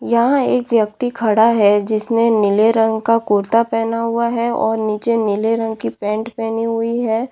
यहाँ एक व्यक्ति खड़ा है जिसने नीले रंग का कुर्ता पहना हुआ है और नीचे नीले रंग की पेंट पहनी हुई है।